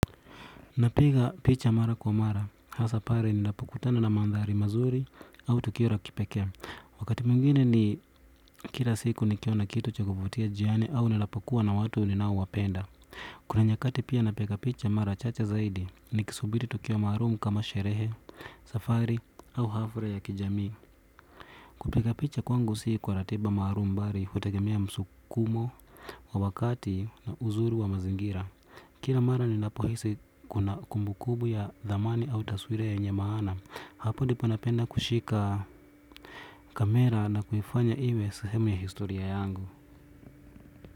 Napiga picha mara kwa mara, hasa pale ninapokutana na mandhari mazuri au tukio la kipekee wakati mwingine ni kila siku nikiona kitu cha kuvutia njiani au ninapokua na watu ninaowapenda kuna nyakati pia napiga picha mara chache zaidi, nikisubiri tukio maalum kama sherehe, safari au hafura ya kijamii kupiga picha kwangu si kwa ratiba maalum bali, hutegemea msukumo, wa wakati na uzuri wa mazingira kila mara ninapohisi kuna kumbukumbu ya dhamani au taswira yenye maana hapo ndipo napenda kushika kamera na kuifanya iwe sahemu ya historia yangu.